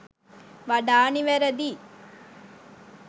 වඩා නිවැරදියි.